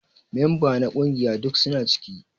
Memba na kungiƴa duk suna ciki.